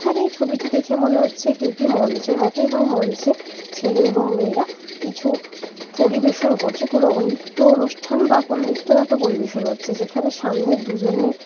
এখানে এই ছবিটি দেখে মনে হচ্ছে এটি একটি মঞ্চের মতো এবং মঞ্চে ছেলে এবং মেয়েরা কিছু পরিবেশন করছে। কোন নিত্য অনুষ্ঠান বা কোন নিত্যনাটক পরিবেশন হচ্ছে যেখানে সামনে দুজনে--